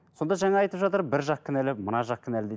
сонда жаңа айтып жатыр бір жақ кінәлі мына жақ кінәлі дейді